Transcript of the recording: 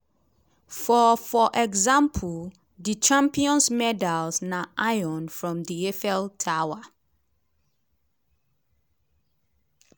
for for example di champions medals na iron from di eiffel tower.